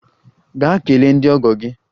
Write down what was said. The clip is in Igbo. Gaa kelee ndị ọgọ gị!